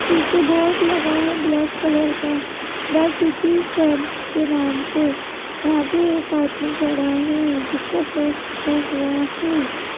पीछे बोर्ड लगा है ब्लैक कलर का द सिटी कैफ के नाम से यहां पे एक आदमी खड़ा है जिसका फेस झूपा हुआ है।